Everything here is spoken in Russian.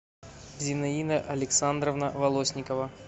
зинаида александровна волосникова